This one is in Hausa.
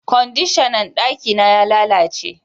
Kwandishan na daki na ya lalace